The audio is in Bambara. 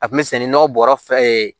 A kun bɛ sɛnɛ nɔgɔ bɔrɔ fɛ